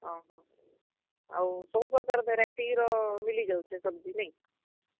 ଓହୋ, ଆଉ ସବୁ ପ୍ରକାର୍ variety ର ମିଲି ଯାଉଛେ सब्जी ନାଇଁ?